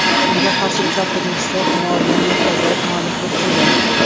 Unga qarshiliklar hujumchisi Humoyun Murtazoyev mualliflik qildi.